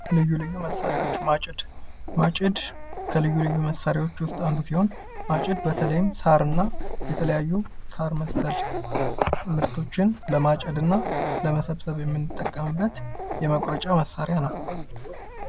ልዩ ልዩ መሳሪያዎች፦ ማጭድ፦ ማጭድ ለልዩ ልዩ መሳሪያዎች ውስጥ አንሱ ሲሆን ማጭድ በተለይም ሳር እና የተለያዩ ሳር መሰል ምርቶችን ለማጨድ እና ለመሰብሰብ የምንጠቀምበት የመቁረጫ መሳሪያ ነው።